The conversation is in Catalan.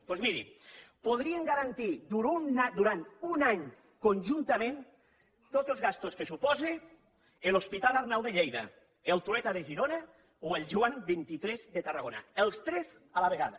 doncs miri podrien garantir durant un any conjuntament totes les despeses que suposen l’hospital arnau de lleida el trueta de girona o el joan xxiii de tarragona els tres a la vegada